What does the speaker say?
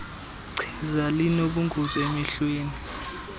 chiza linobungozi emehlweni